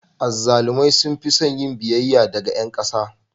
Azzalumai sun fi son yin biyayya daga ƴan ƙasa.